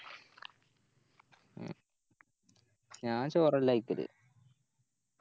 ഉം ഞാൻ ചോറല്ല കയിക്കല്